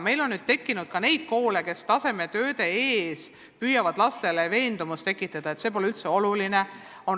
Meil on nüüd tekkinud ka selliseid koole, kus lastes püütakse tasemetööde suhtes tekitada veendumust, et need tööd pole üldse olulised.